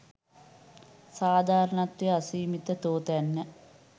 සාධාරණත්වය අසීමිත තෝතැන්න